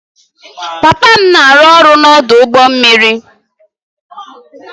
Papa m na-arụ ọrụ n'ọdụ ụgbọ mmiri